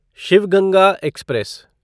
Shiv Ganga express